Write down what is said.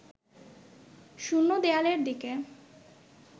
শূন্য দেয়ালের দিকে